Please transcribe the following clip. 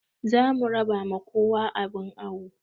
Zamu raba ma kowa abun awo